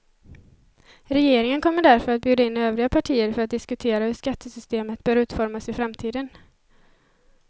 Regeringen kommer därför att bjuda in övriga partier för att diskutera hur skattesystemet bör utformas i framtiden.